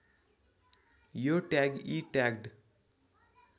यो ट्याग इ ट्याग्ड